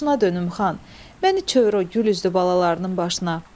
Başına dönüm, xan, məni çevir o gül üzlü balalarının başına.